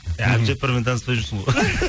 әбдіжаппармен таныспай жүрсің ғой